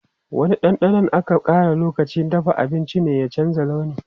Wani ɗanɗanon da aka ƙara lokacin dafa abinci ne ya canza launi.